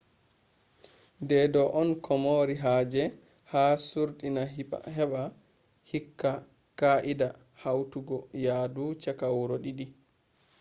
deedo on komari haje ha suurdina heba hokka ka’ida hautogo yahdu chaka wuro didi